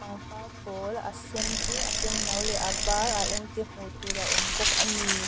pangpar pawl a sen te a senno leh a var a eng te hmuh tur a awm bawk a ni.